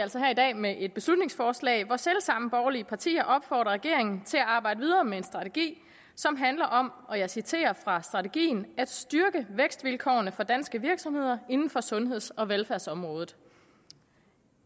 altså her i dag med et beslutningsforslag hvor selv samme borgerlige partier opfordrer regeringen til at arbejde videre med en strategi som handler om og jeg citerer fra strategien at styrke vækstvilkårene for danske virksomheder inden for sundheds og velfærdsområdet